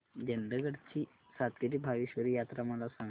चंदगड ची सातेरी भावेश्वरी यात्रा मला सांग